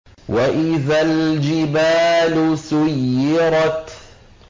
وَإِذَا الْجِبَالُ سُيِّرَتْ